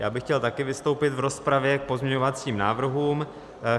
Já bych chtěl taky vystoupit v rozpravě k pozměňovacím návrhům.